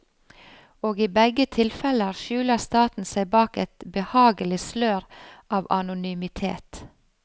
Og i begge tilfeller skjuler staten seg bak et behagelig slør av anonymitet.